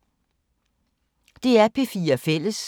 DR P4 Fælles